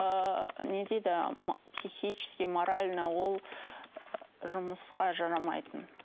ыыы не дейді психически морально ол ы жұмысқа жарамайтын